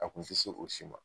A tun tɛ se o si ma